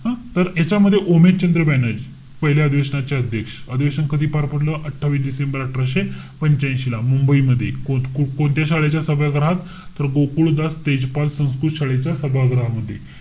हं? तर याच्यामध्ये ओमेशचंद्र बॅनर्जी, पहिल्या अधिवेशनाचे अध्यक्ष. अधिवेशन कधी पार पडलं? अठ्ठावीस डिसेंबर अठराशे पंच्यांशीला. मुंबई मध्ये. को~ कोणत्या शाळेच्या सभागृहात? तर गोकुळदास तेजपाल संस्कृत शाळेच्या सभागृहामध्ये.